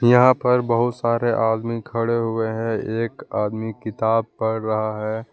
यहां पर बहुत सारे आदमी खड़े हुए हैं एक आदमी किताब पढ़ रहा है।